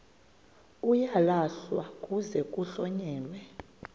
uyalahlwa kuze kuhlonyelwe